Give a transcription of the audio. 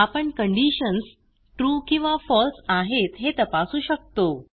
आपण conditions true किंवा false आहेत हे तपासू शकतो